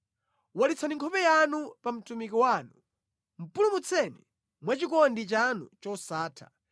Walitsani nkhope yanu pa mtumiki wanu; pulumutseni mwa chikondi chanu chosatha.